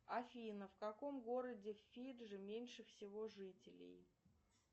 афина в каком городе фиджи меньше всего жителей